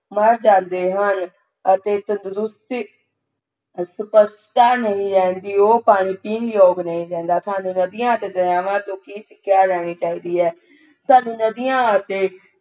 ਮਰ ਜਾਂਦੇ ਹਨ ਅਤੇ ਤੰਦਰੁਸਤ ਹਸ਼ਟ ਪੁਸ਼ਟਤਾ ਨਹੀਂ ਰਹਿੰਦੀ ਉਹ ਪਾਣੀ ਪੀਣ ਯੋਗ ਨਹੀਂ ਰਹਿੰਦਾ ਸਾਨੂੰ ਨਦੀਆਂ ਅਤੇ ਦਰਿਆਵਾਂ ਤੋਂ ਕਿ ਸਿਖਿਆ ਲੈਣੀ ਚਾਹੀਦੀ ਹੈ ਸਾਨੂੰ ਨਦੀਆਂ ਅਤੇ